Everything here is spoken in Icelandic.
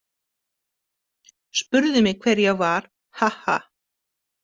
Spurðu mig hver ég var, ha- ha!